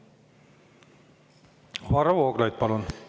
Varro Vooglaid, palun!